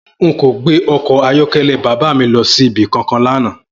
N ò gbé o̩kò̩ ayó̩ké̩lé̩ bàbá mi lo̩ sí ibi kankan lánàá